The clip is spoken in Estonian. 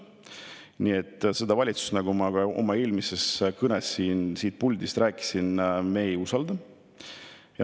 Nii et seda valitsust, nagu ma ka oma eelmises kõnes siit puldist ütlesin, me ei usalda.